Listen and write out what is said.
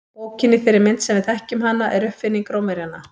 Bókin í þeirri mynd sem við þekkjum hana er uppfinning Rómverjanna.